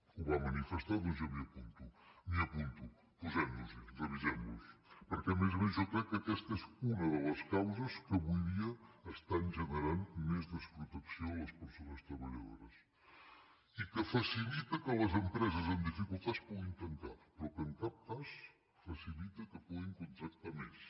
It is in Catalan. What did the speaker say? ho va manifestar doncs jo m’hi apunto m’hi apunto posem nos hi revisem los perquè a més a més jo crec que aquesta és una de les causes que avui dia estan generant més desprotecció en les persones treballadores i que facilita que les empreses amb dificultats puguin tancar però que en cap cas facilita que puguin contractar més